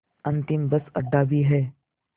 अंतिम बस अड्डा भी है